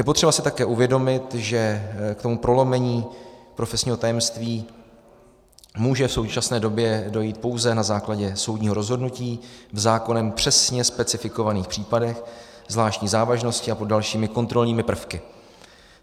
Je potřeba si také uvědomit, že k tomu prolomení profesního tajemství může v současné době dojít pouze na základě soudního rozhodnutí v zákonem přesně specifikovaných případech zvláštní závažnosti a pod dalšími kontrolními prvky.